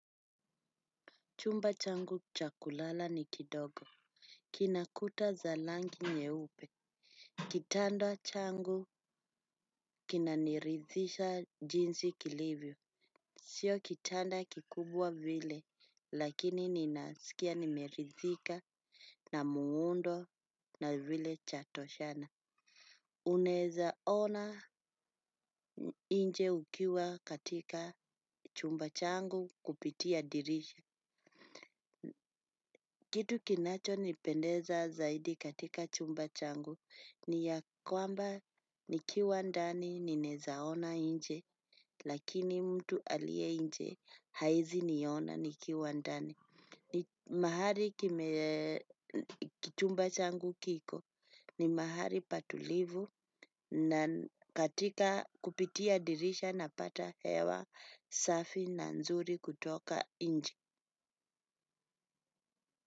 Chumba changu cha kulala ni kidogo. Kinakuta za langi nyeupe. Kitando changu kinaniridhisha jinsi kilivyo. Sio kitanda kikubwa vile lakini ninasikia nimeridhika na muundo na vile cha toshana. Unaeza ona nje ukiwa katika chumba changu kupitia dirisha. Kitu kinacho nipendeza zaidi katika chumba changu ni ya kwamba nikiwa ndani ninezaona nje lakini mtu alie nje haezi niona nikiwa ndani. Mahali chumba changu kiko ni mahali patulivu na kupitia dirisha napata hewa safi na nzuri kutoka nje.